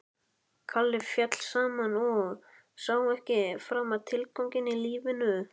Kalli féll saman og sá ekki framar tilganginn í lífinu.